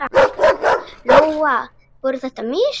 Lóa: Voru þetta mistök?